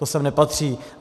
To sem nepatří.